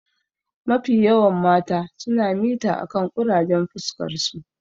Mafi yawan mata suna mita akan ƙurajen fuskarsu.